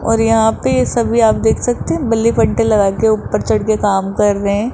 और यहां पे सभी आप देख सकते हैं बिल्ली बंटे लगा के ऊपर चढ़ के कम कर रहे हैं।